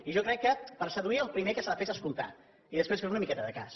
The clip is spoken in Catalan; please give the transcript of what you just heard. i jo crec que per seduir el primer que s’ha de fer és escoltar i després fer una miqueta de cas